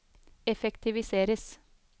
effektiviseres